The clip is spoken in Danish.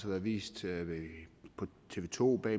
været vist på tv to med